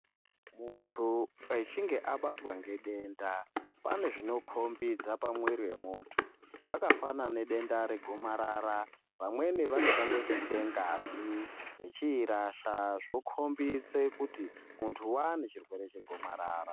Muntu echinge abatwa ngedenda pane zvinokombidza pamuiri wemuntu zvakafanana nedenda regomarara vamweni vanotanga kubude ngazi vechiirasha zvokombidza kuti muntu waane nechirwere chegomarara.